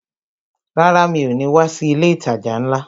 Rárá ,mi ò ní wá sí ilé ìtajà ńlá